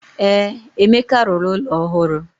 Ee, Emeka rụrụ ụlọ ọhụrụ.